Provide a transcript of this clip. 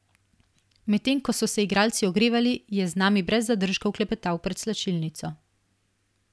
Medtem ko so se igralci ogrevali, je z nami brez zadržkov klepetal pred slačilnico.